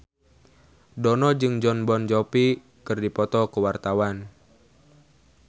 Dono jeung Jon Bon Jovi keur dipoto ku wartawan